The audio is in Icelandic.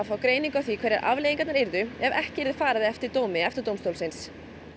fá greiningu á því hverjar afleiðingarnar yrðu ef ekki yrði farið eftir dómi EFTA dómstólsins